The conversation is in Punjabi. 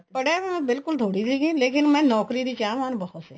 ਪੜਿਆ ਤਾਂ ਮਾਈ ਬਿਲਕੁਲ ਥੋੜੀ ਸੀਗੀ ਲੇਕਿਨ ਮੈਂ ਨੋਕਰੀ ਦੀ ਚਾਹਵਾਨ ਬਹੁਤ ਸੀ